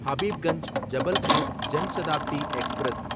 Habibganj Jabalpur Janshatabdi express